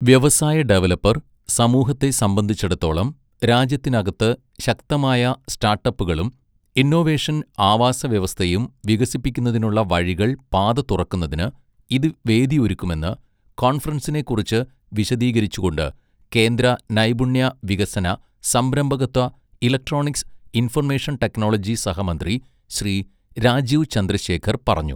വ്യവസായ, ഡെവലപ്പർ സമൂഹത്തെ സംബന്ധിച്ചിടത്തോളം രാജ്യത്തിനകത്ത് ശക്തമായ സ്റ്റാട്ടപ്പുകളും ഇന്നൊവേഷൻ ആവാസവ്യവസ്ഥയും വികസിപ്പിക്കുന്നതിനുള്ള വഴികൾ പാത തുറക്കുന്നതിന് ഇത് വേദിയൊരുക്കുമെന്ന് കോൺഫറൻസിനെക്കുറിച്ച് വിശദീകരിച്ചുകൊണ്ട് കേന്ദ്ര നൈപുണ്യ വികസന, സംരംഭകത്വ, ഇലക്ട്രോണിക്സ്, ഇൻഫർമേഷൻ ടെക്നോളജി സഹമന്ത്രി ശ്രീ രാജീവ് ചന്ദ്രശേഖർ പറഞ്ഞു.